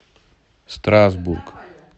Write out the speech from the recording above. страсбург